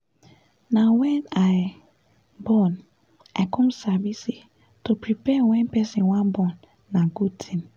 na wen i born i come sabi say to prepare wen person wan born na good thing